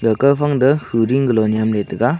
haka phang ta hu ding lo nyam ley taega.